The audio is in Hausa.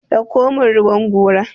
dauko min ruwan gora!